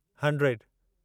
hundred